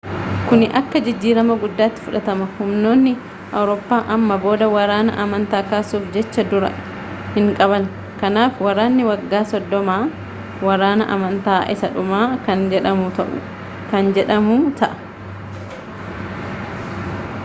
kuni akka jijjiirama guddaatti fudhatama humnoonni awuroppa amma booda waraana amantaa kaasuuf jecha-duraa hin qaban kanaaf waraanni waggaa soddomaa waraana amantaa isaa dhumaa kan jedhamu ta'a